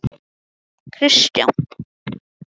Hlakkaði óskaplega til að verða mamma.